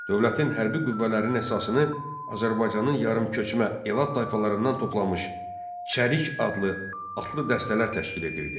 Dövlətin hərbi qüvvələrinin əsasını Azərbaycanın yarı-köçmə elat tayfalarından toplanmış çərik adlı atlı dəstələr təşkil edirdi.